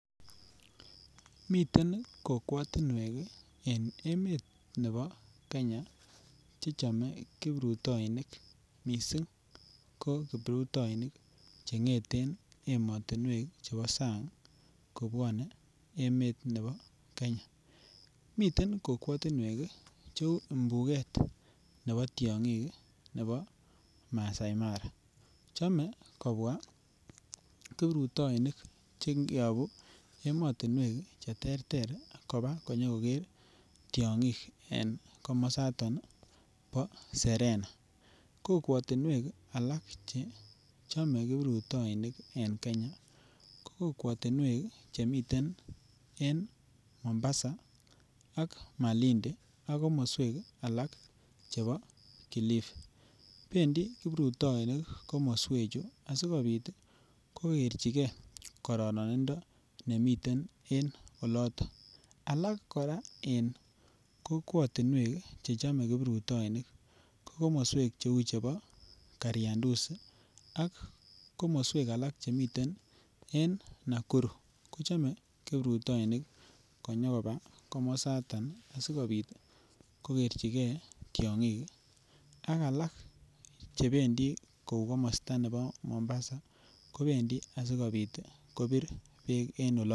Miten kikwotinwek en Kenya che chome kiprutoinik mising ko kiprutoinik che ngeten ematinwek chebo sang kobwane emet nebo Kenya. Mi kokwotinwek cheu imbuget nebo tiongik nebo Masai Mara. Chome kobwa kiprutoinik che yabu ematinwek cheterter koba konyokoger tiongik en komosaton bo Serena. Kokwatinuek alak che chome kiprutoinik en Kenya, ko kokwatinuek chemi en Mombasa ak Malindi ak komoswek alak chebo Kilifi. Bendi kiprutoinik komoswechu asigopit kogerchike kororonindo nemiten en oloton. Alak kora en kokwatinuek chechame kiprutoinik ko komoswek cheu chebo Kariandusi ak komoswek alak che miten en Nakuru. Kochame kiprutoinik konyokoba komosatan sigopit kogerchige tiongik ak alak chebendi kou komosta nebo Mombasa kobendi asigopit kopir beek en olo.